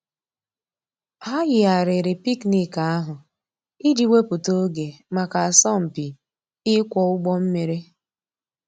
Hà yìghàrìrì picnic àhụ̀ íjì wépụ̀tà ògè mǎká àsọ̀mpị íkwọ̀ ǔgbọ̀ mmìrì.